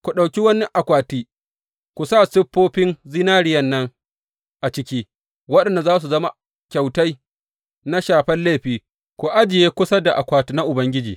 Ku ɗauki wani akwati ku sa siffofin zinariyan nan a ciki, waɗanda za su zama kyautai na shafen laifi, ku ajiye kusa da Akwati na UBANGIJI.